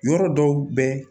Yɔrɔ dɔw bɛ